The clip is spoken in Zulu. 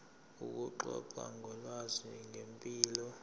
ukuxoxa ngolwazi ngempilo